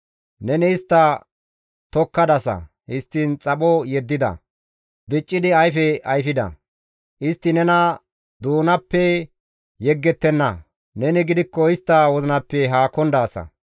Neni istta tokkadasa; histtiin xapho yeddida; diccidi ayfe ayfida. Istti nena doonappe yeggettenna; neni gidikko istta wozinappe haakon daasa.